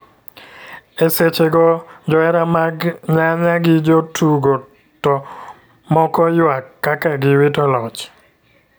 E seche go johera mag nyanya gi jo tugo to moko yuak kaka gi wito loch